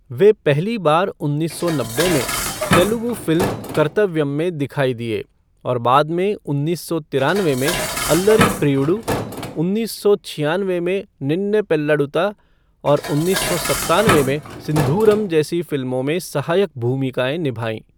वह पहली बार उन्नीस सौ नब्बे में तेलुगु फ़िल्म कर्तव्यम में दिखाई दिए, और बाद में उन्नीस सौ तिरानवे में अल्लरि प्रियुडु, उन्नीस सौ छियानवे में निन्ने पेल्लाडुता और उन्नीस सौ सत्तानवे में सिंधूरम जैसी फ़िल्मों में सहायक भूमिकाएं निभाई।